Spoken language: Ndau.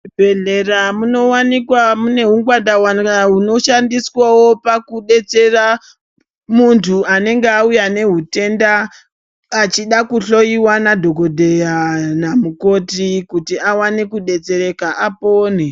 Muzvibhedhlera munowanikwa mune hungwanda ngwanda hunoshandiswawo pakudetsera muntu anenge auya nehutenda achida kuhloiwa nadhokodheya namukoti kuti awane kudetsereka apone.